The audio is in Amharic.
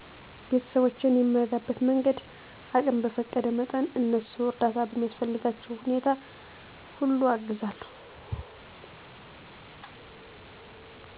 ቤተስቦቼን የምረዳበት መንገድ አቅም በፈቀደ መጠን እነሱ እርዳታ በሚያስፈልግባቸዉ ሁኔታ ሁሉ አግዛለዉ